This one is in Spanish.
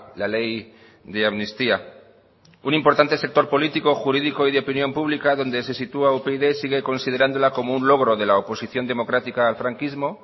la ley de amnistía un importante sector político jurídico y de opinión pública donde se sitúa upyd sigue considerándola como un logro de la oposición democrática al franquismo